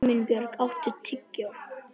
Himinbjörg, áttu tyggjó?